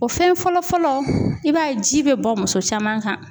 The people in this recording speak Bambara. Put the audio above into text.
O fɛn fɔlɔ'fɔlɔ i b'a ye ji bɛ bɔn muso caman kan